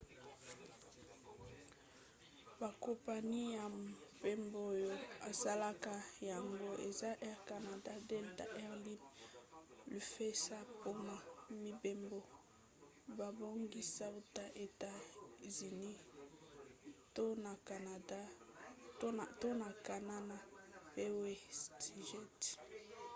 bakompani ya mpepo oyo esalaka yango eza air canada delta air lines lufthansa mpona mibembo babongisi uta na etats-unis to na canana mpe westjet